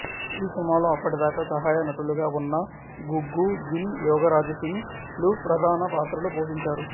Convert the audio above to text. ఈ సినిమాలో అప్పటిదాకా సహాయ నటులుగా ఉన్న గుగ్గు గిల్ యోగరాజ్ సింగ్ లు ప్రధాన పాత్రలు పోషించారు